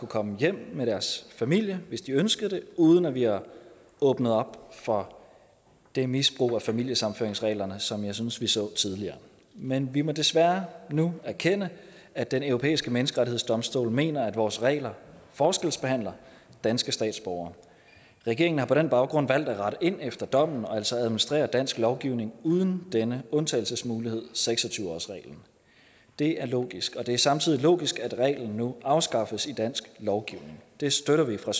komme hjem med deres familie hvis de ønskede det uden at vi har åbnet op for det misbrug af familiesammenføringsreglerne som jeg synes vi så tidligere men vi må desværre nu erkende at den europæiske menneskerettighedsdomstol mener at vores regler forskelsbehandler danske statsborgere regeringen har på den baggrund valgt at rette ind efter dommen og altså administrere dansk lovgivning uden denne undtagelsesmulighed seks og tyve årsreglen det er logisk og det er samtidig logisk at reglen nu afskaffes i dansk lovgivning det støtter vi fra